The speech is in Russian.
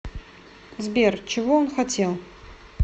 сбер чего он хотел